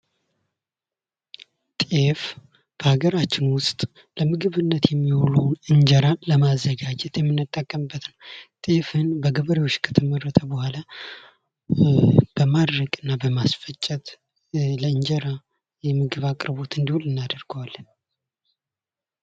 ጤፍ በሀገራቸውን ውስጥ ለምግብነት የሚውሉ እንጀራን ለማዘጋጀት የምንጠቀምበት ነው። ጤፍን በገበሬዎች ከተመረተ በኋላ በማድረቅና በማስፈጨት ለእንጀራ የምግብ አቅርቦት እንዲውል እናደርገዋለን።